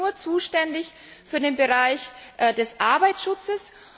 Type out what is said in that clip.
Wir sind nur zuständig für den Bereich des Arbeitsschutzes.